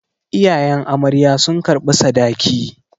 Iyayen amarya sun karɓi sadaki.